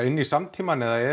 inn í samtímann eða er